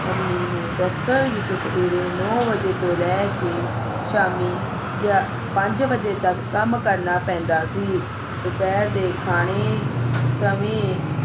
mummy ਨੂੰ ਦਫ਼ਤਰ ਵਿਚ ਸਵੇਰੇ ਨੌ ਵਜੇ ਤੋਂ ਲੈ ਕੇ ਸ਼ਾਮੀ ਗਿਆਪੰਜ ਵਜੇ ਤੱਕ ਕੰਮ ਕਰਨਾ ਪੈਂਦਾ ਸੀ ਦੁਪਹਿਰ ਦੇ ਖਾਣੇ ਸਮੇਂ